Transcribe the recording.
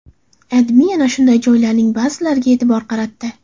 AdMe ana shunday joylarning ba’zilariga e’tibor qaratdi .